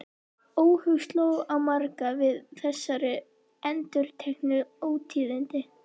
Óhug sló á marga við þessi endurteknu ótíðindi.